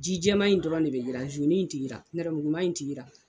Ji jɛman in dɔrɔn de bɛ jiran in tɛ jiran nɛrɛmuguma in tɛ jiran